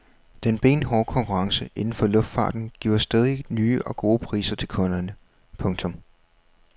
Den benhårde konkurrence inden for luftfarten giver stadig nye og gode priser til kunderne. punktum